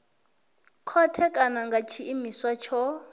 khothe kana nga tshiimiswa tsho